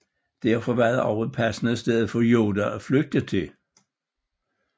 Derfor var det også et passende sted for Yoda at flygte til